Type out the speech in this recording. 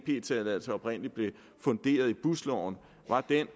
ep tilladelsen oprindelig blev funderet i busloven var